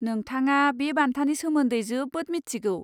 नोंथङा बे बान्थानि सोमोन्दै जोबोद मिथिगौ।